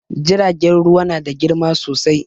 Jiragen ruwa na da girma sosai